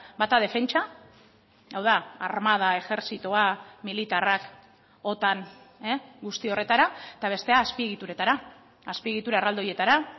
bata defentsa hau da armada ejertzitoa militarrak otan guzti horretara eta bestea azpiegituretara azpiegitura erraldoietara